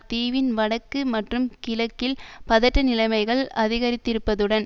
தீவின் வடக்கு மற்றும் கிழக்கில் பதட்ட நிலைமைகள் அதிகரித்திருப்பதுடன்